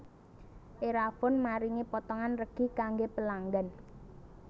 Erafone maringi potongan regi kangge pelanggan